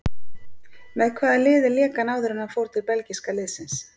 Með hvaða liði lék hann áður en hann fór til belgíska liðsins?